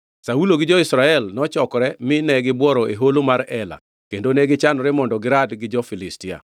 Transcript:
Saulo gi jo-Israel to nochokore mine gibworo e Holo mar Ela kendo negichanore mondo girad gi jo-Filistia.